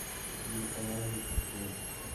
телеканал мужской